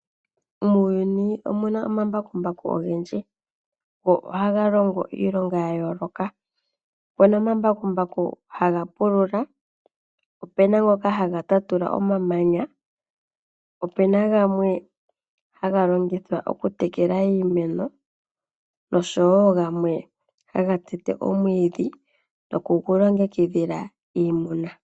Muuyuni omuna omambakumbaku ogendji go ohaga longo iilonga yayooloka. Opuna omambakumbaku haga pulula, opuna ngoka haga tatula omamanya, opuna gamwe haga longithwa okutekela iimeno nosho wo gamwe haga tete omwiidhi noku gu longekidhila iimuna.